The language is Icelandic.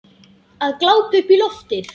Að glápa upp í loftið.